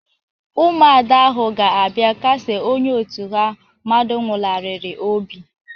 Ụmụada ahụ ga-abia kasie onye òtù ha mmadu nwularịrị obi.